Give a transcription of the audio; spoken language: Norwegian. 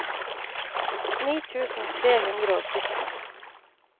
ni tusen tre hundre og sytten